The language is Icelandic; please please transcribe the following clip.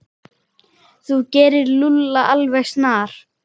Þú gerir Lúlla alveg snar,